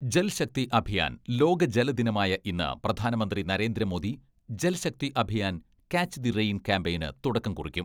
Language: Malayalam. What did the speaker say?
ജൽ ശക്തി അഭിയാൻ ലോക ജല ദിനമായ ഇന്ന് പ്രധാനമന്ത്രി Narendra Modi 'Jal Shakti Abhiyan, catch the rain' ക്യാമ്പയിന് തുടക്കം കുറിക്കും.